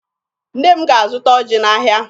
Nne m ga-azụta ọjị n'ahịa.